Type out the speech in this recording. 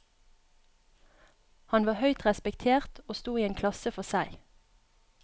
Han var høyt respektert og sto i en klasse for seg.